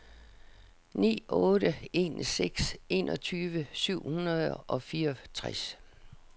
ni otte en seks enogtyve syv hundrede og fireogtres